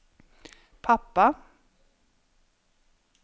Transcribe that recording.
pappa